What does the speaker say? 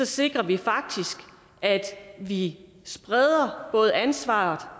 sikrer vi at vi spreder både ansvaret